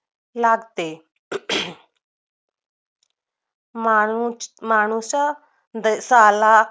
लागते म्हणून मानस देशाला